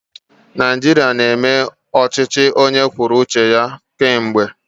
Naijiria na-eme ọchịchị onye kwuo uche ya kemgbe.